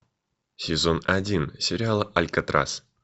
сезон один сериала алькотрас